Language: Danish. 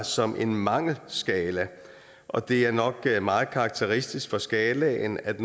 som en mangelskala og det er nok meget karakteristisk for skalaen at